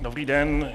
Dobrý den.